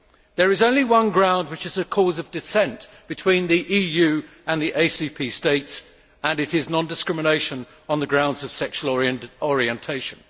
There is only one ground which is a cause of dissent between the EU and the ACP states, and it is non discrimination on the grounds of sexual orientation.